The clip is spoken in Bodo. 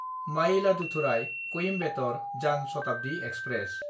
मायिलादुथुराय–कॊइम्बेटर जान शताब्दि एक्सप्रेस